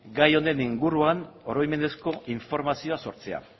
gai honen inguruan oroimenezko informazioa sortzea